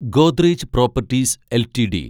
Godrej properties LTD